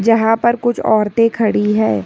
यहां पर कुछ औरतें खड़ी है।